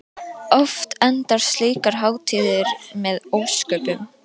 Oft enda slíkar hátíðir með ósköpum.